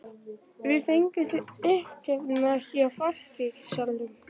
Við fengum þig uppgefna hjá fasteignasalanum.